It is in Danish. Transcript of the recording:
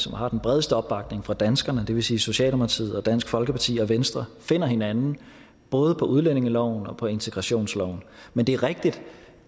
og har den bredeste opbakning fra danskerne det vil sige socialdemokratiet dansk folkeparti og venstre finder hinanden både på udlændingeloven og på integrationsloven men det er rigtigt